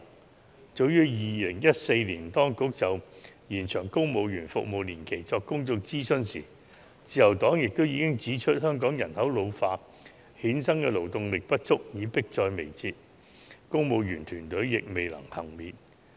在當局早於2014年就"延長公務員服務年期"進行公眾諮詢的時候，自由黨已經指出，香港人口老化衍生的勞動力不足問題迫在眉睫，公務員團隊亦未能幸免。